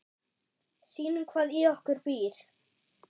Sýnum hvað í okkur býr.